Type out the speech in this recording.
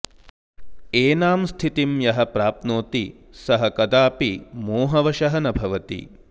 एनां स्थितिं यः प्राप्नोति सः कदापि मोहवशः न भवति